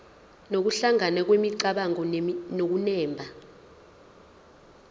nokuhlangana kwemicabango nokunemba